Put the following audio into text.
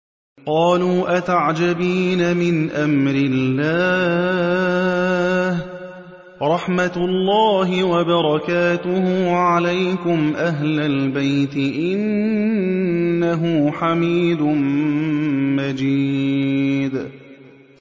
قَالُوا أَتَعْجَبِينَ مِنْ أَمْرِ اللَّهِ ۖ رَحْمَتُ اللَّهِ وَبَرَكَاتُهُ عَلَيْكُمْ أَهْلَ الْبَيْتِ ۚ إِنَّهُ حَمِيدٌ مَّجِيدٌ